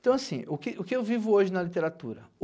Então, assim, o que o que eu vivo hoje na literatura?